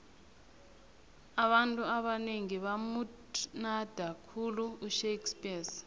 abantu abanengi bamuthnada khulu ushakespears